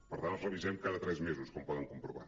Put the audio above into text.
per tant els revisem cada tres mesos com poden comprovar